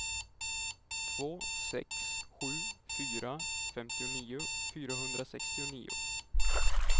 två sex sju fyra femtionio fyrahundrasextionio